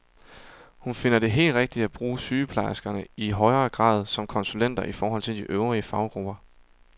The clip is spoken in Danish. Hun finder det helt rigtigt at bruge sygeplejerskerne i højere grad som konsulenter i forhold til de øvrige faggrupper.